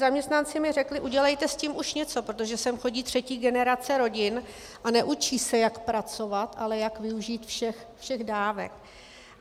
Zaměstnanci mi řekli: Udělejte s tím už něco, protože sem chodí třetí generace rodin a neučí se, jak pracovat, ale jak využít všechny dávky.